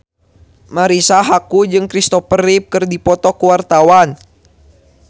Marisa Haque jeung Kristopher Reeve keur dipoto ku wartawan